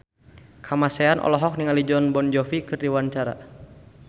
Kamasean olohok ningali Jon Bon Jovi keur diwawancara